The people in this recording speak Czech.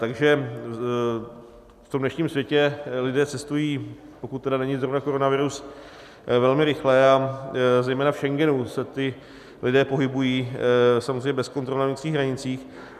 Takže v tom dnešním světě lidé cestují, pokud tedy není zrovna koronavirus, velmi rychle a zejména v Schengenu se ti lidé pohybují samozřejmě bez kontrol na vnitřních hranicích.